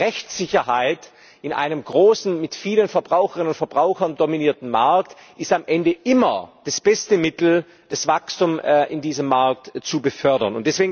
Ich glaube, Rechtssicherheit ist in einem großen, von vielen Verbraucherinnen und Verbrauchern dominierten Markt am Ende immer das beste Mittel, Wachstum in diesem Markt zu befördern.